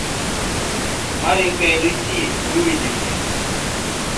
маленькая люси выведи мне